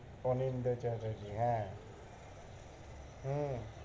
অনিন্দা চ্যাটার্জি, হ্যাঁ হম